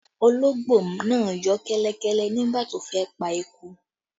Ológbò náà yọ́ kẹ́lẹ́ nígbà tó fẹ́ pa eku